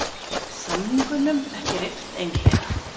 Samningunum ekki rift einhliða